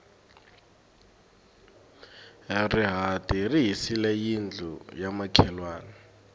rihati ri hisile yindlu ya makhelwani